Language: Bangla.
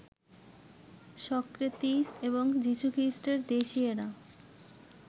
সক্রেতিস্ এবং যীশুখ্রীষ্টের দেশীয়েরা